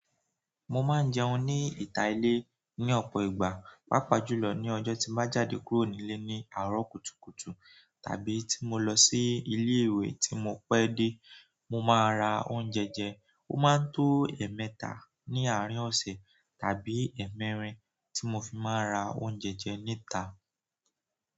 Mo máa ń jẹun ní ìta ilé ní ọ̀pọ̀ ìgbà, pàápàá jùlọ ní ọjọ́ tí mo bá jáde kúrò nílé ní àárọ̀ kùtùkùtù tàbí tí mo lọ sí ilé ìwé tí mo pẹ dé. Mo máa ra oúnjẹ jẹ, ó máa ń tó ẹ̀ẹ̀mẹta ní àárín ọ̀sẹ̀ tàbí ẹ́ẹ̀mẹrin tí mo fi máa ra oúnjẹ jẹ níta.